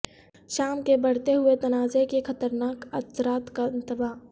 شام کے بڑھتے ہوئے تنازع کے خطرناک اثرات کا انتباہ